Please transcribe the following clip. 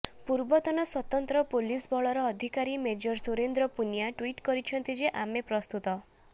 ପୂର୍ବତନ ସ୍ବତନ୍ତ୍ର ପୋଲିସ ବଳର ଅଧିକାରୀ ମେଜର ସୁରେନ୍ଦ୍ର ପୁନିଆ ଟ୍ବିଟ୍ କରିଛନ୍ତି ଯେ ଆମେ ପ୍ରସ୍ତୁତ